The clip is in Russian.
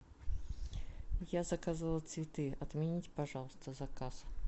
я заказывала цветы отмените пожалуйста заказ